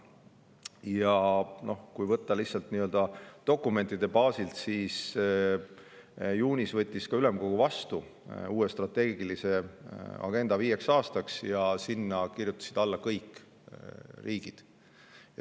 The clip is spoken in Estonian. Ja kui võtta lihtsalt nii-öelda dokumentide baasilt, siis näeme, et ülemkogu võttis juunis vastu uue strateegilise agenda viieks aastaks, ja sinna kirjutasid alla kõik riigid.